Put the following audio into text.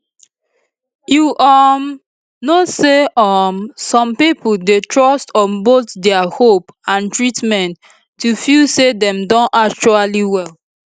you um know say um some pipo dey trust on both dia hope and treatment to feel say dem don actually well